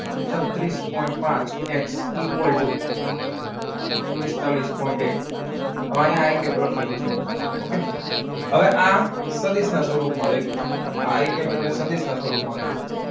છત્રીસ પોઇન્ટ પાંચ X equal to પિસ્તાળીસ પોઈન્ટ એક. હવે અહીંયા આઈ ક્યુબ લખેલું છે. હવે આ સદીશ ના સ્વરૂપમાં લખ્યું છે એટલે સદીશ હા આઈ ક્યુબ ના સ્વરૂપમાં લખ્યું છે.